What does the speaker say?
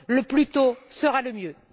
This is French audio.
Le plus tôt sera le mieux.